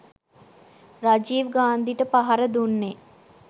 රජීව් ගාන්ධිට පහර දුන්නෙ